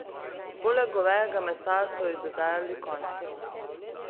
Poleg govejega mesa so ji dodajali konjsko.